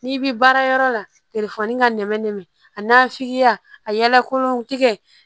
N'i bi baara yɔrɔ la telefɔni ka nɛmɛ nɛmɛ a n'a f'ikiya a yala kolon tigɛ